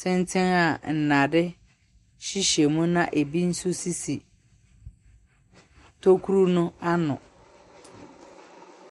tenten a nnade hyehyɛ mu na ɛbi nso sisi tokuro no ano.